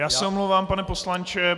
Já se omlouvám, pane poslanče.